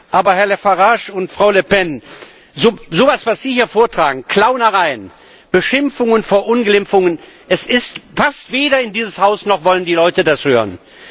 Aber, Herr Farage und Frau Le Pen, so etwas, was Sie hier vortragen Clownereien, Beschimpfungen, Verunglimpfungen passt weder in dieses Haus, noch wollen die Leute das hören.